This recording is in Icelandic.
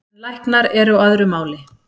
En læknar eru á öðru máli